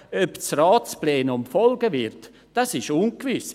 Ob das Ratsplenum folgen wird, ist ungewiss.